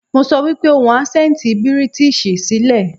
Mo sọ wípé ohun asẹnti British sí lẹ̀.